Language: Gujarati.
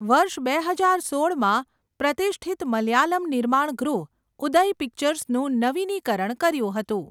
વર્ષ બે હજાર સોળમાં પ્રતિષ્ઠિત મલયાલમ નિર્માણ ગૃહ ઉદય પિક્ચર્સનું નવીનીકરણ કર્યું હતું.